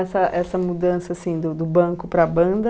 essa essa mudança assim do do banco para a banda...